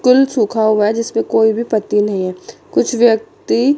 फूल सूखा हुआ है जिस पे कोई भी पत्ती नहीं है कुछ व्यक्ति--